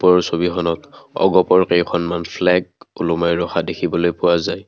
ওপৰৰ ছবিখনত অ_গ_প ৰ কেইখনমান ফ্লেগ ওলোমাই ৰখা দেখিবলৈ পোৱা যায়।